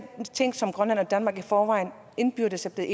ting som grønland og danmark i forvejen indbyrdes er